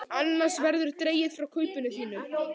Annars verður dregið frá kaupinu þínu.